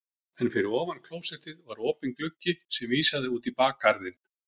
En fyrir ofan klósettið var opinn gluggi sem vísaði út í bakgarðinn.